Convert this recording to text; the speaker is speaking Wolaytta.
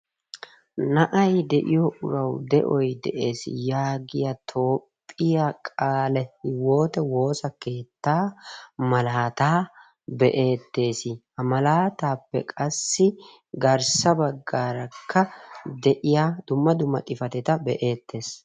Na'aa de'iyoo urawu de'oy de'ees yaagiyaa Toophphiyaa qaalihiwoote woossa keetta malalataa be'ettes. Ha malatappe qassi garssa baggaaraka de'iya dumma dumma xifaatetta be'ettees.